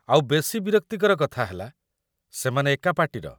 ଆଉ ବେଶି ବିରକ୍ତିକର କଥା ହେଲା ସେମାନେ ଏକା ପାର୍ଟିର ।